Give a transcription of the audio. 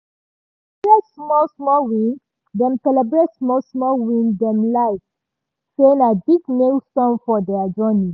"dem celebrate small-small win dem small-small win dem like say na big milestone for their journey".